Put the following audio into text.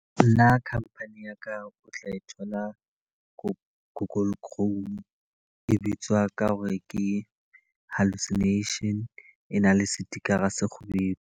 Nna khamphani ya ka o tla e thola go google chrome. E bitswa ka hore ke hallucinations, e na le setikara se se kgubedu.